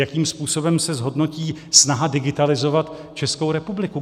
Jakým způsobem se zhodnotí snaha digitalizovat Českou republiku?